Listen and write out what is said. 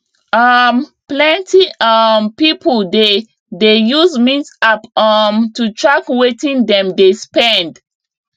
um plenty um people dey dey use mint app um to track wetin dem dey spend